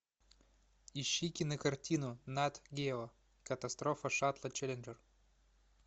ищи кинокартину нат гео катастрофа шаттла челленджер